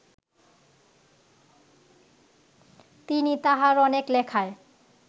তিনি তাঁহার অনেক লেখায়